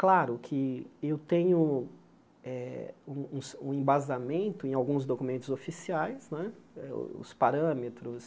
Claro que eu tenho eh um um embasamento em alguns documentos oficiais né, eh os parâmetros.